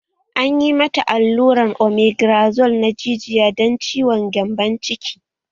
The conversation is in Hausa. Anyi mata aluran omegrazole na jijiya dan ciwon gyambon ciki